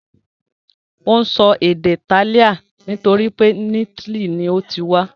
Ó ń sọ èdè Italian nítorí pé italy ni ó ti wá.